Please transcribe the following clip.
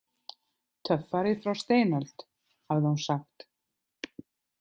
Töffari frá steinöld, hafði hún sagt.